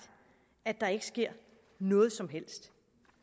at der ikke sker noget som helst